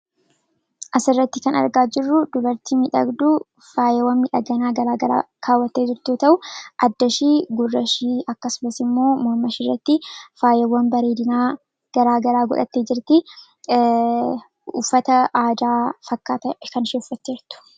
asirratti kan argaa jirru dubartii midhagduu faayiwwan midhaginaa garaagaraa kaawwattee jirtuyoo ta'u addashii, gurrashii, akkasumas immoo mormashiirratti faayiwwan bareedinaa garaagaraa godhatee jirti uffata aadaa fakkaata kan isheen uffattee jirtu